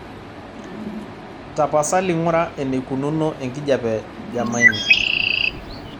tapasali ng'ura eneikununo enkijiape jamaine